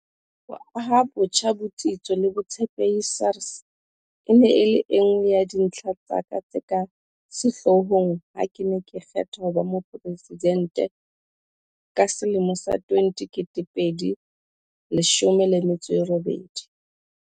Ho aha botjha botsitso le botshepehi SARS e ne e leng e nngwe ya dintlha tsa ka tse ka sehlohlolong ha ke ne ke kgethwa ho ba Mopresidente ka 2018.